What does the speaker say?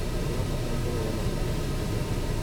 Tũrabatara kũheana ng'ano ciitũ na angĩ.